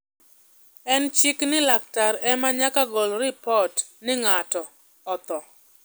en chik ni laktar ema nyaka gol ripot ni ngato otho